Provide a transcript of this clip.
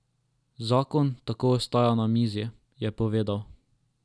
Zakon tako ostaja na mizi, je povedal.